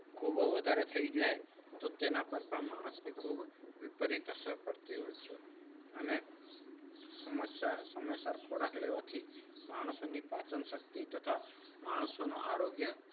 ખૂબ વધારે થઈ જાય તો તેના પર પણ માણસની ખુબ વિપરીત અસર પડતી હોય છે. અને સમય સમયસર ખોરાક લેવાથી માણસોની પાચન શક્તિ તથા માણસોનું આરોગ્ય